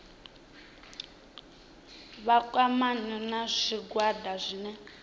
vha kwamane na zwigwada zwine